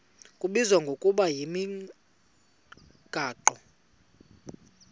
kubizwa ngokuba yimigaqo